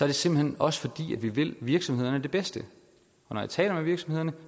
det simpelt hen også fordi vi vil virksomhederne det bedste når jeg taler med virksomhederne